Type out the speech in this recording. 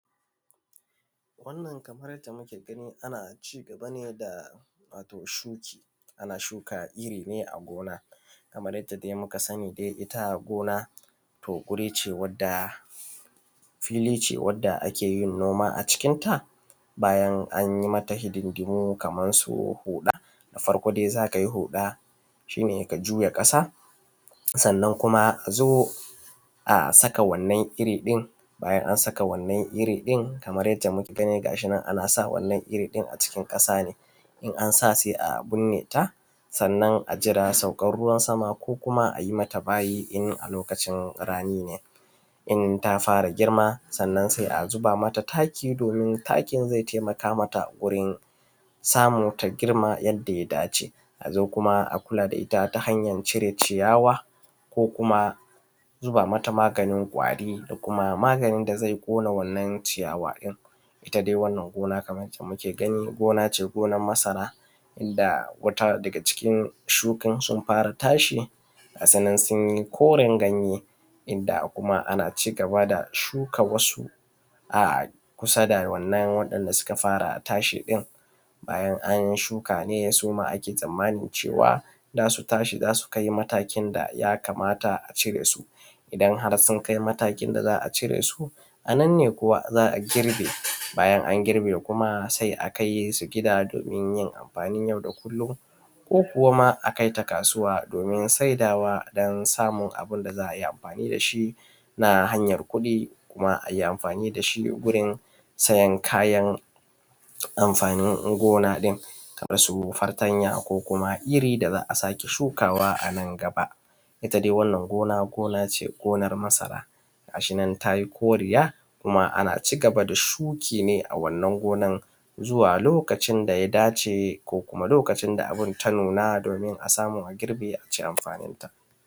Wannan kamar yadda muke gani ana cigaba ne da wato shuki ana shuka. wato irri ne a gona kamar yadda muka sani dai itta gona to guri wadda filice wadda akeyin noma a cikin ta bayan anyi mata hidindimu kamarsu huɗa da farko dai zakayi huɗa shine ka juya ƙasa sannan kuma azo a saka wannan irri ɗin bayan an saka wannan irri ɗin, kamar yadda muka gani gashinan anasa wannan irri ɗin a cikin ƙasane bayan anasa sa a bineta sannan ajira saukan ruwan sama sauka ruwan sama ko kuma ayi mata bayi in a lokacin rani ne. in tafara girma sannan sai a zuba mata taki domin zai taimaka mata wurin samu ta girma yadda ya dace. Azo kuma a kula da itta ta hanyae cire ciyawa ko zuba maganin kwari, da kuma maganin da zai ƙona wannan ciyawa ɗin. itta dai wannan gona Kaman ycce muke gani gonace gonan masara inda wata daga cikin shukan sun fara tashi gasunan sunyi koren ganye. Inda kuma ana cigaba da shuka a kusa da wannan da suka fara tashi ɗin, bayan anshuka ake tsammani cewa zasu tashi zasu kai matakin da yakamata a cire su. idan harsun kai matakin da za’a a cire su ananne kuwa za’a girbe, bayan an girbe sai a kaisu gida domin yin amfanin